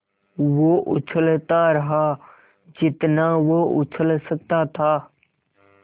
वो उछलता रहा जितना वो उछल सकता था